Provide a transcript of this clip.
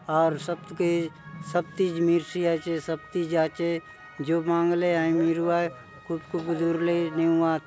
आउर सप्त के सब चीज़ मिरसी आचे सब चीज़ आसे जो मांगले हय मिरुआय खूब खूब दूर ले नेउआत।